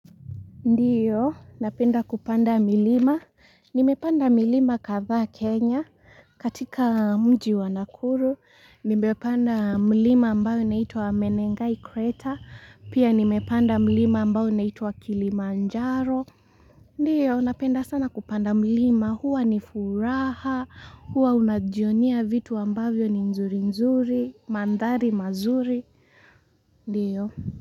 Ndio, napenda kupanda milima, nimepanda milima kadha Kenya, katika mji wa nakuru, nimepanda milima ambayo unaitwa Menengai Kreta, pia nimepanda milima ambayo unaitwa Kilimanjaro. Ndio, napenda sana kupanda milima, huwa ni furaha, huwa unajionia vitu ambavyo ni nzuri nzuri, mandhari mazuri, ndio.